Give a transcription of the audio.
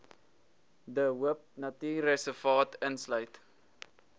de hoopnatuurreservaat insluit